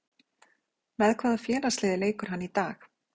Með hvaða félagsliði leikur hann í dag?